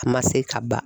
A ma se ka ban